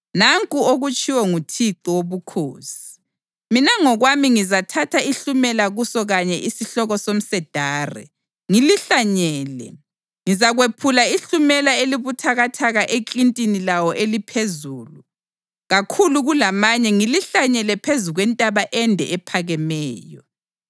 Nanku okutshiwo nguThixo Wobukhosi: Mina ngokwami ngizathatha ihlumela kuso kanye isihloko somsedari ngilihlanyele; ngizakwephula ihlumela elibuthakathaka eklintini lawo eliphezulu kakhulu kulamanye ngilihlanyele phezu kwentaba ende ephakemeyo.